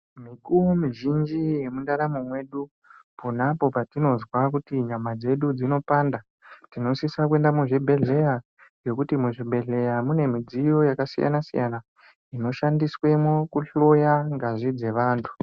Mikuwo mizhinji yemundaramo mwedu, pona apo patinozwa kuti nyama dzedu dzinopanda, tinosisa kuenda muzvibhedhleya, ngekuti muzvibhedhleya ,mune midziyo yakasiyana-siyana, inoshandiswemo kuhloya ngazi dzevantu.